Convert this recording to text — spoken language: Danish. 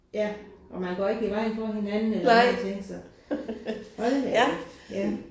Ja og man går ikke i vejen for hinanden eller nogen ting så. Hold da kæft ja